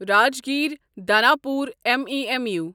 Rajgir Danapur MEMU